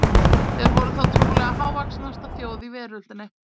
þeir voru þá trúlega hávaxnasta þjóð í veröldinni